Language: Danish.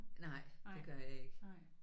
Nej det gør jeg ikke